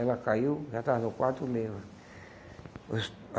Ela caiu, já estava no quarto mesmo.